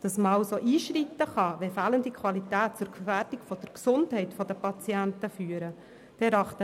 Wir erachten das Einschreiten als richtig und wichtig, wenn fehlende Qualität zur Gefährdung der Gesundheit der Patienten führt.